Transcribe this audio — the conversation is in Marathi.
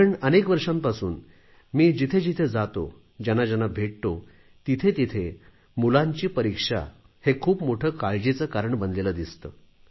कारण अनेक वर्षांपासून मी जिथे जिथे जातो ज्यांना ज्यांना भेटतो तिथे तिथे मुलांची परीक्षा हे खूप मोठे काळजीचे कारण बनलेले दिसते